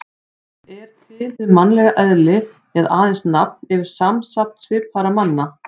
Er til hið mannlega eðli eða aðeins nafn yfir samsafn svipaðra manna?